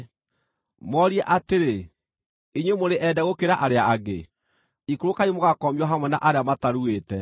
Moorie atĩrĩ: ‘Inyuĩ mũrĩ ende gũkĩra arĩa angĩ? Ikũrũkai mũgakomio hamwe na arĩa mataruĩte.’